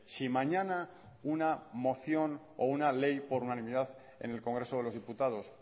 si mañana una moción o una ley por unanimidad en el congreso de los diputados